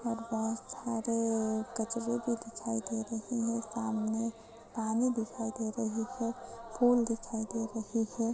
और बोहोत सारे कचरे भी दिखाई दे रहे हैं सामने पानी दिखाई दे रही है फूल दिखाई दे रही है।